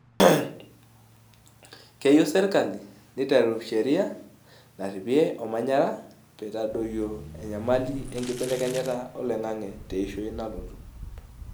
keyieu serkali neiteru sheria naripie omanyara peitadoyuo enyamali enkibelekenyata oloingange teishoi nalootu